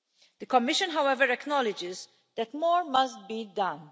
The Commission, however, acknowledges that more must be done.